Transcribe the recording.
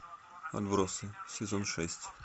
отбросы сезон шесть